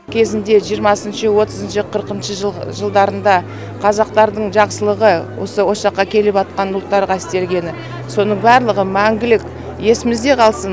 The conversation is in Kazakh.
кезінде жиырмасыншы отызыншы қырықыншы жыл жылдарында қазақтардың жақсылығы осы осы жаққа келіватқан ұлттарға істегені соның барлығы мәңгілік есімізде қалсын